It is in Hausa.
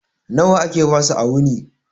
Nawa ake basu a wuni?